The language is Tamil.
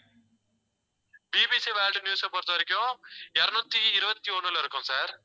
பிபிசி வேர்ல்ட் நியூஸ பொறுத்தவரைக்கும், இருநூத்தி இருபத்தி ஒண்ணுல இருக்கும் sir